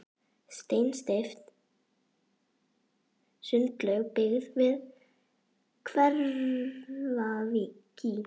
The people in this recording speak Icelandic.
Steinsteypt sundlaug byggð við Hveravík í